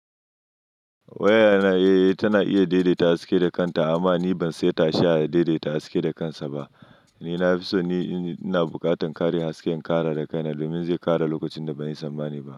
Waya na eh tana iya daidaita haske da kanta amma ni ban so ta sha ya daidaita haske da kansa ba. Ni na fi so ni ina buƙatan kare hasken kara da kaina domin zai kara lokacin da ban yi samma ba ne.